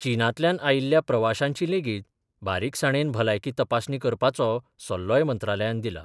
चीनांतल्यान आयिल्ल्या प्रवाश्यांची लेगीत बारीकसाणेन भलायकी तपासणी करपाचो सल्लोय मंत्रालयान दिला.